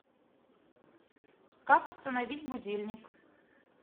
как установить будильник